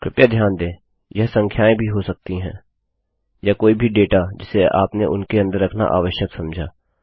कृपया ध्यान दें यह संख्याएँ भी हो सकती हैं या कोई भी डेटा जिसे आपने उनके अंदर रखना आवश्यक समझा